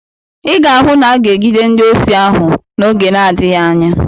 Ị ga-ahụ na aga-egide ndị osi ahụ oge n'adịghị anya.